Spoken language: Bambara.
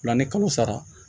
Fila ni kalo sara